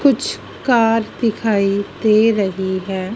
कुछ कार दिखाई दे रही है।